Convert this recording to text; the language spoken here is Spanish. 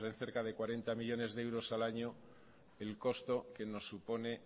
cerca de cuarenta millónes de euros al año el costo que nos supone